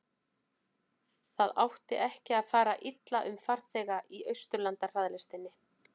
það átti ekki að fara illa um farþega í austurlandahraðlestinni